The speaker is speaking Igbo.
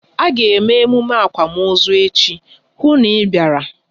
A ga eme emume akwamozu echi, hụ na ị bịara!